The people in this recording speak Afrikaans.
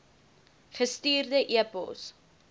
gestuurde e pos